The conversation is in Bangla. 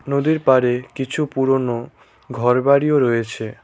নদীর পাড়ে কিছু পুরনো ঘরবাড়িও রয়েছে।